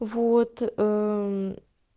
вот